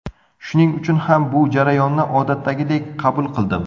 Shuning uchun ham bu jarayonni odatdagidek qabul qildim.